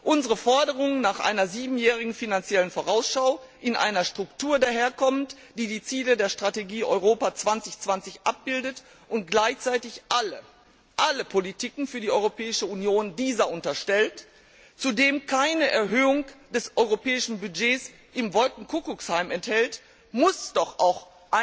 Unsere Forderung nach einer siebenjährigen Finanziellen Vorausschau, die in einer Struktur ihren Ausdruck findet, die die Ziele der Strategie Europa 2020 abbildet und dieser gleichzeitig alle Politiken für die Europäische Union unterstellt, und die zudem keine Erhöhung des europäischen Budgets im Wolkenkuckucksheim enthält, muss doch auch